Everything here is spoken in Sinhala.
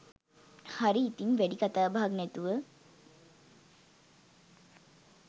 හරි ඉතින් වැඩි කතාබහක් නැතුව